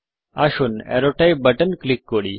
আসুন arrow type button click করুন